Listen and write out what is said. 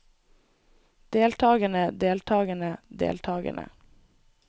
deltagerne deltagerne deltagerne